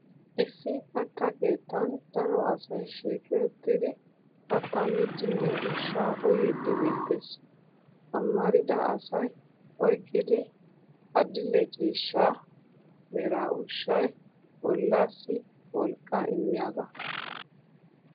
Issi katta keettan daro asay shiiqi uttidi kattaa miiddinne ushshaa uyiiddi beettes. Amarida asay oyqqidi adil'e ciishsha mera ushshay bollaassi wolqqaa immiyagaa.